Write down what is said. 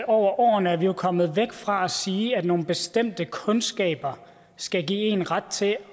over årene er vi jo kommet væk fra at sige at nogle bestemte kundskaber skal give en ret til